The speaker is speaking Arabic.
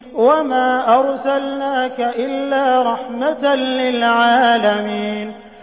وَمَا أَرْسَلْنَاكَ إِلَّا رَحْمَةً لِّلْعَالَمِينَ